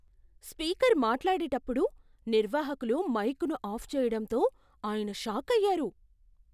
Speaker మాట్లాడేటప్పుడు నిర్వాహకులు మైకును ఆఫ్ చేయడంతో ఆయన షాకయ్యారు.